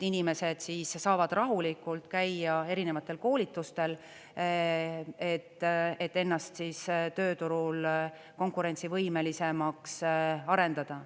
Inimesed saavad rahulikult käia erinevatel koolitustel, et ennast tööturul konkurentsivõimelisemaks arendada.